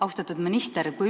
Austatud minister!